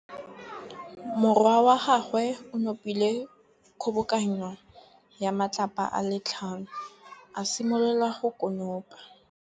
Morwa wa gagwe o nopile kgobokanô ya matlapa a le tlhano, a simolola go konopa.